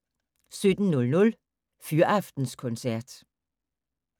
17:00: Fyraftenskoncert